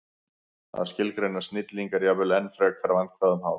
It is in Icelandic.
Að skilgreina snilling er jafnvel enn frekar vandkvæðum háð.